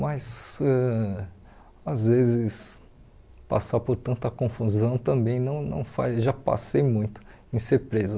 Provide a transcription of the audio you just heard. Mas, ãh às vezes, passar por tanta confusão também não não faz... Já passei muito em ser preso.